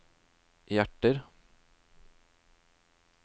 hjerter